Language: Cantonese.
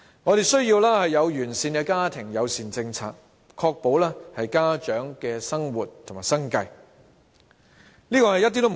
我們需要完善的家庭友善政策，確保家長能維持生活和生計。